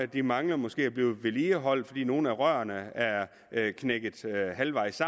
de mangler måske at blive vedligeholdt fordi nogle er rørene er knækket halvvejs